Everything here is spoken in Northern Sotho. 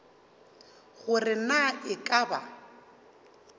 gore na e ka ba